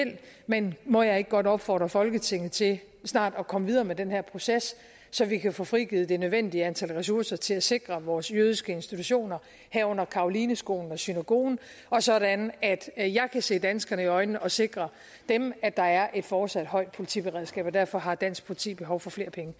men må jeg ikke godt opfordre folketinget til snart at komme videre med den her proces så vi kan få frigivet det nødvendige antal ressourcer til at sikre vores jødiske institutioner herunder carolineskolen og synagogen og sådan at at jeg kan se danskerne i øjnene og sikre dem at der er et fortsat højt politiberedskab derfor har dansk politi behov for flere penge